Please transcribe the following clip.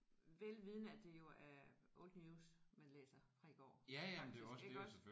Velvidende at det jo er old news man læser fra i går faktisk iggås